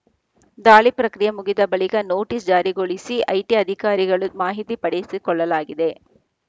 ದಾಳಿ ಪ್ರಕ್ರಿಯೆ ಮುಗಿದ ಬಳಿಕ ನೋಟಿಸ್‌ ಜಾರಿಗೊಳಿಸಿ ಐಟಿ ಅಧಿಕಾರಿಗಳು ಮಾಹಿತಿ ಪಡೆಸಿಕೊಳ್ಳಲಾಗಿದೆ